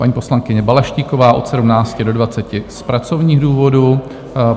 Paní poslankyně Balaštíková - od 17 do 20 z pracovních důvodů;